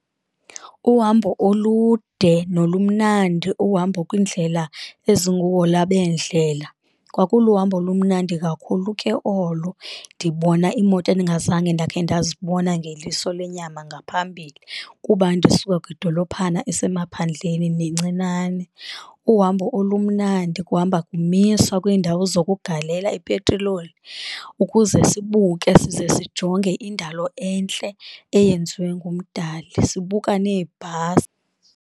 Uhambo olude nolumnandi uhambo kwindlela ezinguhola beendlela, kwakuluhambo olumnandi kakhulu ke olo ndibona iimoto endingazange ndakhe ndazibona ngeliso lenyama ngaphambili, kuba ndisuka kwidolophana esemaphandleni nencinane. Uhambo olumandi, kuhamba kumiswa kwiindawo zokugalela ipetiloli ukuze sibuke size sijonge indalo entle eyenziwe nguMdali, sibuka neebhasi.